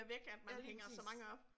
Ja lige præcis